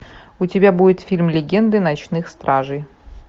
у тебя будет фильм легенды ночных стражей